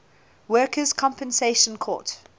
workers compensation court